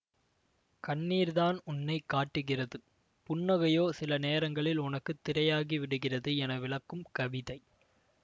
கண்ணீர்தான் உன்னை காட்டுகிறது புன்னகையோ சில நேரங்களில் உனக்கு திரையாகிவிடுகிறது என விளக்கும் கவிதை